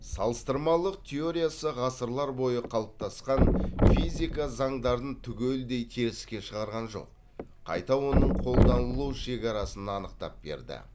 салыстырмалық теориясы ғасырлар бойы қалыптасқан физика заңдарын түгелдей теріске шығарған жоқ қайта оның қолданылу шекарасын анықтап берді